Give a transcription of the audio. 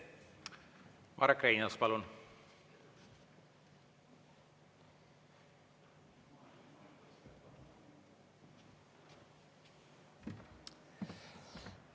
Marek Reinaas, palun!